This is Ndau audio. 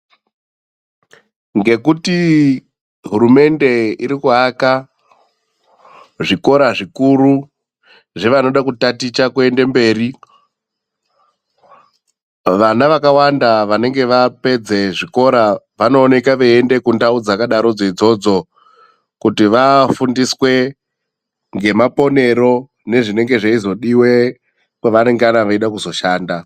Ngekuti hurumende iri kuaka zvikora zvikuru zvevanoda kutaticha kuenda mberi. Vana vakawanda vanenge vapedze zvikora vanooneka veyienda kundau dzakadaro idzodzo, kuti vafundiswe ngemaponero nezvinenge zveyizodiwe kwavanengana veida kuzoshanda.